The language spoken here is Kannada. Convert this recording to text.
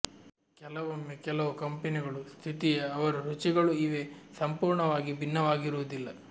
ಕೆಲವೊಮ್ಮೆ ಕೆಲವು ಕಂಪನಿಗಳು ಸ್ಥಿತಿಯೇ ಅವರು ರುಚಿಗಳು ಇವೆ ಸಂಪೂರ್ಣವಾಗಿ ಭಿನ್ನವಾಗಿರುವುದಿಲ್ಲ